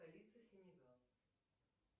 столица сенегал